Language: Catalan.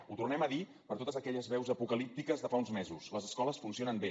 ho tornem a dir per totes aquelles veus apocalíptiques de fa uns mesos les escoles funcionen bé